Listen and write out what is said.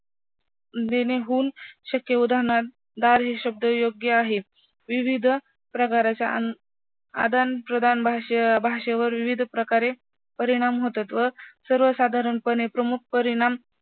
जेणेहून शक्य उदाहरणार्थ शब्द योग्य आहे. विविध प्रकारच्या अं आदान प्रदान भाषे भाषेवर विविध प्रकारे परिणाम होतात व सर्वसाधारणपणे प्रमुख परिणाम